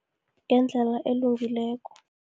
Ngendlela elungileko.